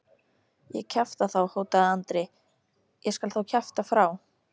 Ég kjafta þá, hótaði Andri, ég skal þá kjafta frá.